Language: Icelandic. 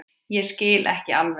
Ég skil ekki alveg